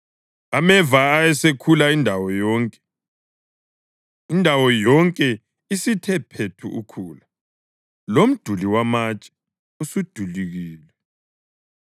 ameva ayesekhula indawo yonke, indawo yonke isithe phethu ukhula, lomduli wamatshe usudilikile.